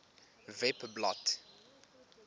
webblad